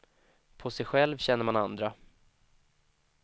På sig själv känner man andra.